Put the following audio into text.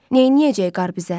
Neyləyəcək qar bizə?